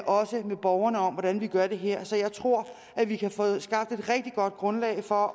også med borgerne om hvordan vi gør det her så jeg tror at vi kan få skabt et rigtig godt grundlag for